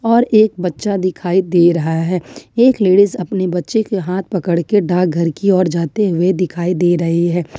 और एक बच्चा दिखाई दे रहा है एक लेडिस अपने बच्चे के हाथ पकड़ के डाकघर की ओर जाते हुए दिखाई दे रहे हैं।